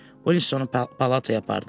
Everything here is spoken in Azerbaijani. Uinstonu palataya apardılar.